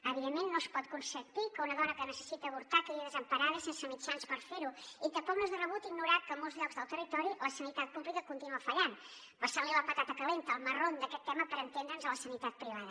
evidentment no es pot consentir que una dona que necessita avortar quedi desemparada i sense mitjans per fer·ho i tampoc no és de rebut ignorar que en molts llocs del territori la sanitat pública continua fallant passant·li la patata calenta el marron d’aquest tema per entendre’ns a la sanitat privada